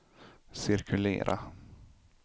cirkulera